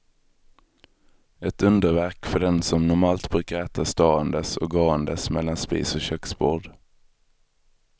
Ett underverk för den som normalt brukar äta ståendes och gåendes mellan spis och köksbord.